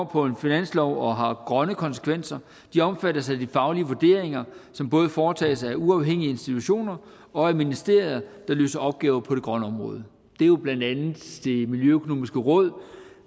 på en finanslov og har grønne konsekvenser omfattes af de faglige vurderinger som både foretages af uafhængige institutioner og af ministerier der løser opgaver på det grønne område det er jo blandt andet det miljøøkonomiske råd